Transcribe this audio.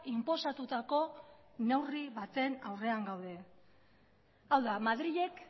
inposatutako neurri baten aurrean gaude hau da madrilek